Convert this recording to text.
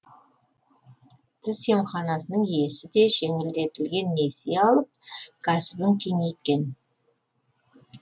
тіс емханасының иесі де жеңілдетілген несие алып кәсібін кеңейткен